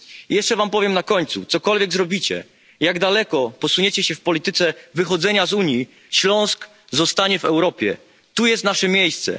Jeszcze wam powiem na końcu cokolwiek zrobicie, jak daleko posuniecie się w polityce wychodzenia z Unii, Śląsk zostanie w Europie tu jest nasze miejsce.